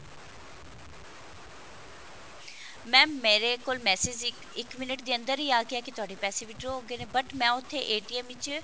mam ਮੇਰੇ ਕੋਲ message ਇੱਕ ਇੱਕ ਮਿੰਟ ਦੇ ਅੰਦਰ ਹੀ ਆ ਗਿਆ ਕਿ ਤੁਹਾਡੇ ਪੈਸੇ withdraw ਹੋ ਗਏ ਨੇ but ਮੈਂ ਉੱਥੇ ਵਿੱਚ